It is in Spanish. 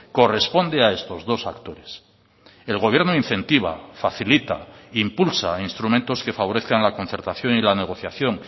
corresponde a estos dos actores el gobierno incentiva facilita impulsa instrumentos que favorezcan la concertación y la negociación